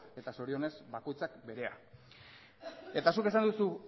eta zorionez bakoitzak berea eta zuk esan duzu